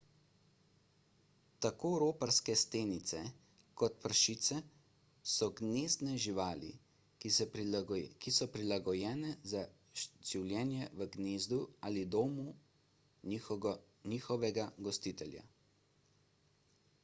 tako roparske stenice kot pršice so gnezdne živali ki so prilagojene za življenje v gnezdu ali domu njihovega gostitelja